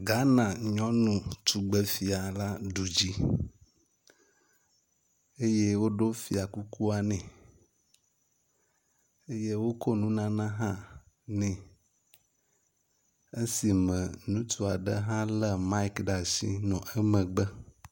Ghana nyɔnu tugbefia la ɖu dzi eye woɖo fia kukua nɛ eye wokɔ nunana hã nɛ esima ŋutsu aɖe hã lé maik ɖe asi nɔ emegbe.